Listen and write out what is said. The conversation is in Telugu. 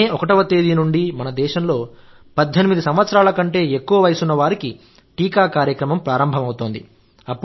మే 1వ తేదీ నుండి మన దేశంలో 18 సంవత్సరాల కంటే ఎక్కువ వయస్సు ఉన్న వారికి టీకా కార్యక్రమం ప్రారంభమవుతోంది